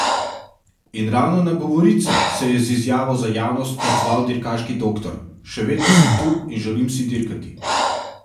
In ravno na govorice se je z izjavo za javnost odzval dirkaški doktor: 'Še vedno sem tu in želim si dirkati.